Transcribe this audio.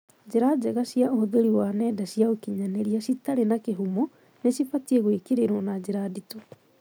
Njĩra njega cia ũhũthĩri wa nenda cia ũkinyanĩria citarĩ na kĩhumo nĩ cibatie gwĩkĩrĩrũo na njĩra nditũ.